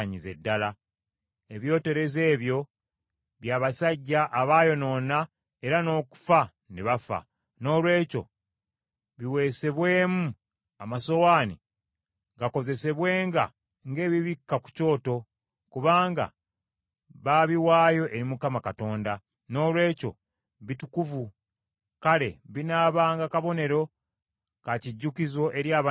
Ebyoterezo ebyo bya basajja abaayonoona era n’okufa ne bafa; noolwekyo biweesebwemu amasowaane gakozesebwenga ng’ebibikka ku kyoto kubanga baabiwaayo eri Mukama Katonda; noolwekyo bitukuvu. Kale binaabanga kabonero ka kijjukizo eri abaana ba Isirayiri.”